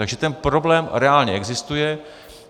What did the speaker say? Takže ten problém reálně existuje.